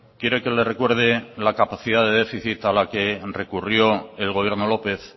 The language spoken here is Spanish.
quiere que le recuerde la capacidad de déficit a la que recurrió el gobierno lópez